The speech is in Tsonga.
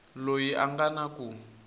loyi a nga na ku